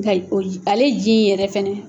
ale ji in yɛrɛ fana.